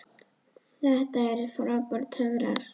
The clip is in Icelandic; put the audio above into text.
Þetta eru bara töfrar.